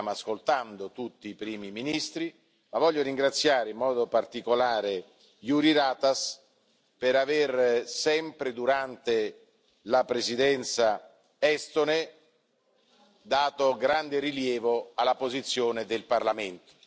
Noi stiamo ascoltando tutti i primi ministri, ma voglio ringraziare in modo particolare Jüri Ratas per avere sempre, durante la Presidenza estone, dato grande rilievo alla posizione del Parlamento.